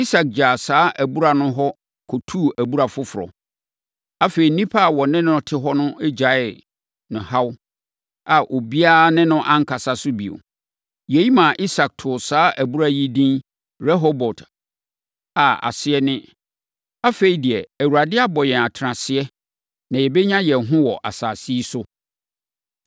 Isak gyaa saa abura no hɔ kɔtuu abura foforɔ. Afei, nnipa a wɔne no te hɔ no gyaee no haw a obiara ne no ankasa so bio. Yei maa Isak too saa abura yi edin Rehobot a aseɛ ne “Afei deɛ Awurade abɔ yɛn atenaseɛ na yɛbɛnya yɛn ho wɔ asase yi so.”